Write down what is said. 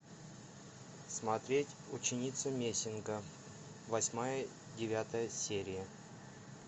смотреть ученица мессинга восьмая девятая серия